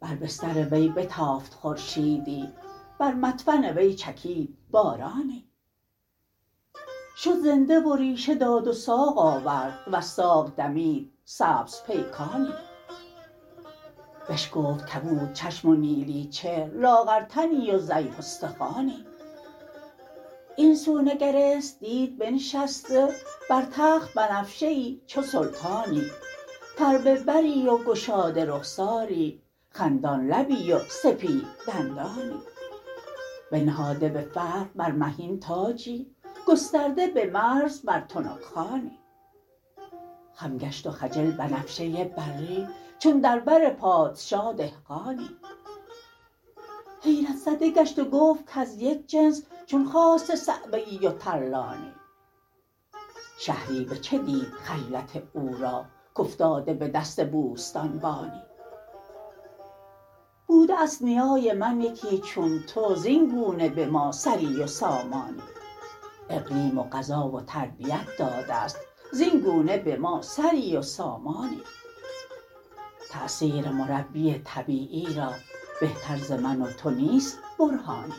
بر بستر وی بتافت خورشیدی بر مدفن وی چکید بارانی شد زنده و ریشه داد و ساق آورد وز ساق دمید سبز پیکانی بشکفت کبودچشم و نیلی چهر لاغر تنی و ضعیف ستخوانی این سو نگرست دید بنشسته بر تخت بنفشه ای چو سلطانی فربه بری و گشاده رخساری خندان لبی و سپید دندانی بنهاده به فرق بر مهین تاجی گسترده به مرز بر تنک خوانی خم گشت و خجل بنفشه بری چون در بر پادشاه دهقانی حیرت زده گشت و گفت کز یک جنس چون خاسته صعوه ای و ترلانی شهری بچه دید خجلت او را کافتاده به دست بوستان بانی بوده است نیای من یکی چون تو زاینگونه به ما سری و سامانی اقلیم و غذا و تربیت داده است زاین گونه به ما سری و سامانی تأثیر مربی طبیعی را بهتر ز من وتو نیست برهانی